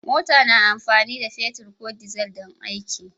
Mota na amfani da man fetur ko dizal don aiki.